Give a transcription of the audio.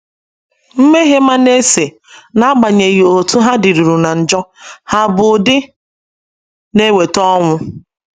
Mmehie Manase, n’agbanyeghị otú ha dịruru ná njọ, hà bụ ụdị na - eweta ọnwụ?